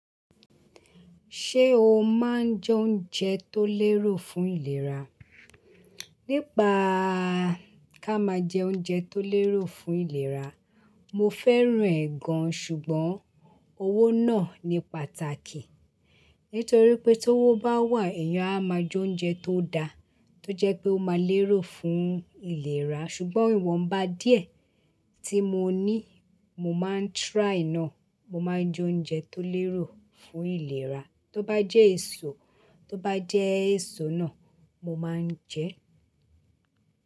Ṣé o máa ń jẹ oúnjẹ tó lérò fún ìlera? Nípa ká máa jẹ oúnjẹ tó lérò fún ìlera, mo fẹ́ràn ẹ̀ gan, ṣùgbọ́n owó náà ni pàtàkì. Nítorí pé tówo bá wà, èèyàn a máa jẹ oúnjẹ tó da, tó jẹ́ pé ó máa lérò fún ìlera. Ṣùgbọ́n ìwọ̀nba díẹ̀ tí mo ní, mo máa ń try náà. Mo máa ń jẹ oúnjẹ tó lérò fún ìlera. Tóbá jẹ́ èso, tóbá jẹ́ èso náà, mo máa ń jẹ ẹ́.